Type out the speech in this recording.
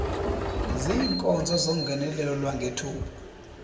ziinkonzo zongenelelo lwangethuba